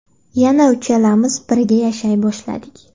Yana uchalamiz birga yashay boshladik.